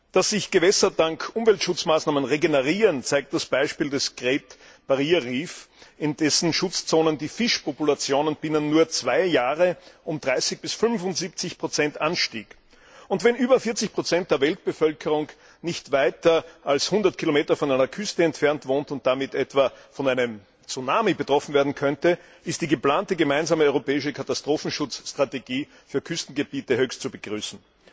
Dass sich Gewässer dank Umweltschutzmaßnahmen regenerieren, zeigt das Beispiel des Great Barrier Reef, in dessen Schutzzonen die Fischpopulationen binnen nur zwei Jahren um 30 bis 75 anstiegen. Angesichts der Tatsache, dass über 40 der Weltbevölkerung nicht weiter als 100 km von einer Küste entfernt wohnt und damit etwa von einem Tsunami betroffen sein könnte, ist die geplante gemeinsame europäische Katastrophenschutzstrategie für Küstengebiete höchst zu begrüßen.